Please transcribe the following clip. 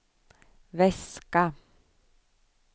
väska